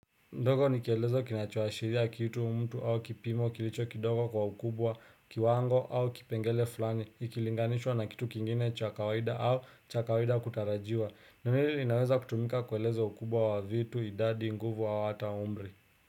Ndogo nikielezo kinachoashiria kitu, mtu au kipimo kilicho kidogo kwa ukubwa, kiwango au kipengele fulani ikilinganishwa na kitu kingine cha kawaida au cha kawaida kutarajiwa. Neno hili linaweza kutumika kueleza ukubwa wa vitu idadi nguvu au hata umri.